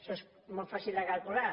això és molt fàcil de calcular